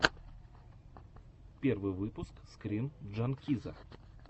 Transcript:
первый выпуск скрин джанкиза